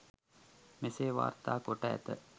මෙසේ වාර්තා කොට ඇත.